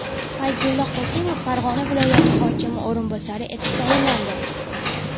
Fayzulla Qosimov Farg‘ona viloyati hokimi o‘rinbosari etib tayinlandi.